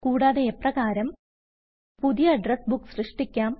കൂടാതെ എപ്രകാരം പുതിയ അഡ്രസ് ബുക്ക് സൃഷ്ടിക്കാം